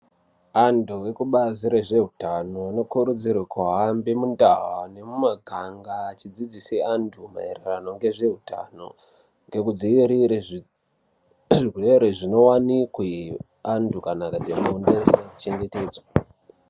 Vantu vekubazi rezvehutano vanokurudzirwa kuhambe muminda nemumaganga achidzidzisa antu maererano ngezvehutano nekudzivirira zvirwere zvinowanikwe antu akaita mizi isina kuchengetedzwe.